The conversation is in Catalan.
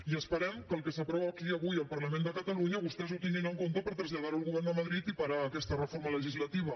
i esperem que el que s’aprova aquí avui al parlament de catalunya vostès ho tinguin en compte per traslladar ho al govern de madrid i parar aquesta reforma legislativa